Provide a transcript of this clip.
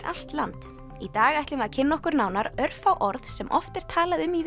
allt land í dag ætlum við að kynna okkur nánar örfá orð sem oft er talað um í